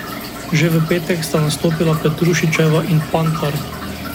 Že v petek sta nastopila Petrušićeva in Pantar.